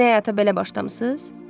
Yeni həyata belə başlamısınız?